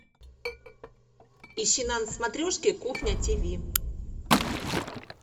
ищи на смотрешке кухня тв